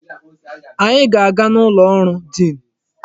Anyị na-aga n'ụlọ ọrụ diin.